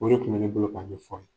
O de tun be ne bolo k'a ɲɛfɔ a' ye.